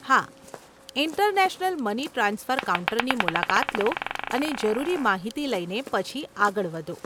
હા, international money transfer કાઉન્ટરની મુલાકાત લો અને જરૂરી માહિતી લઈને પછી આગળ વધો.